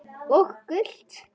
Og gult?